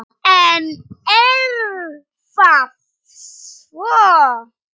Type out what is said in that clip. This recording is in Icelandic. En er það svo.